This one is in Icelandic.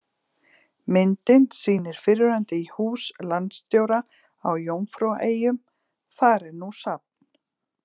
Myndin sýnir fyrrverandi hús landsstjóra á Jómfrúaeyjum, þar er nú safn.